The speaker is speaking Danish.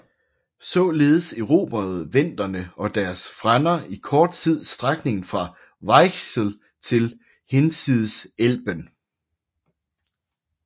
Således erobrede venderne og deres frænder i kort tid strækningen fra Weichsel til hinsides Elben